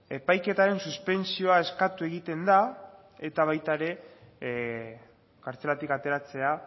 epaiketaren suspentsioa eskatu egiten da eta baita ere kartzelatik ateratzea